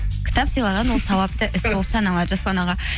кітап сыйлаған ол сауапты іс болып саналады жасұлан аға